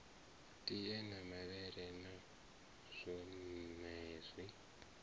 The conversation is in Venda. tie na mavhele na zwonezwi